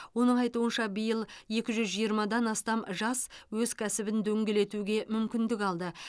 оның айтуынша биыл екі жүз жиырмадан астам жас өз кәсібін дөңгелетуге мүмкіндік алды